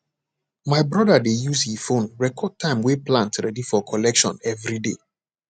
my brother dey use he phone record time way plant ready for collection everyday